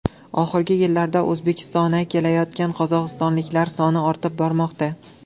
Oxirgi yillarda O‘zbekistona kelayotgan qozog‘istonliklar soni ortib bormoqda.